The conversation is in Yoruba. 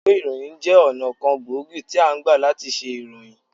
Ìwé ìròyìn jẹ́ ọ̀nà kan gbòógì tí a ngbà làti se ìròyìn